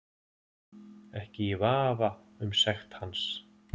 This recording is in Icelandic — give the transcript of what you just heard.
Ekki í vafa um sekt hans